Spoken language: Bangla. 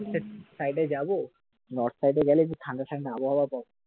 ওকে side এ যাবো north side এ গেলে কি ঠান্ডা ঠান্ডা আবহাওয়া পাবো